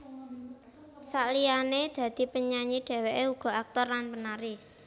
Saliyane dadi penyanyi dheweke uga aktor lan penari